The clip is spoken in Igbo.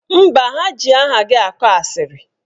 Mba, ha ji aha gị akọ asịrị.